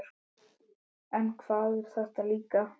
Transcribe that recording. En hvað er þetta líka?